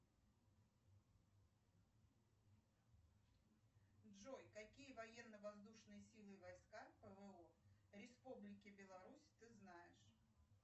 джой какие военно воздушные силы войска пво республики беларусь ты знаешь